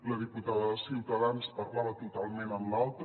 la diputada de ciutadans parlava totalment en l’altre